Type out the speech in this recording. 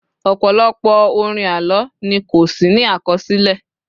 ọpọlọpọ orin àlọ ni ko sí ní akọsilẹ